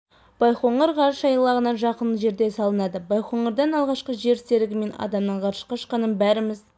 байқоңыр ғарыш айлағына жақын жерде салынады байқоңырдан алғашқы жер серігі мен адамның ғарышқа ұшқанын бәріміз